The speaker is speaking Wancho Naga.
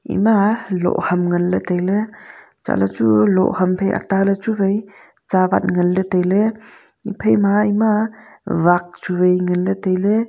ema loh ham ngan le taile chatle chu loh ham phai ata le chu wai tsawat ngan le taile haphaima ema wak chu wai ngan le taile.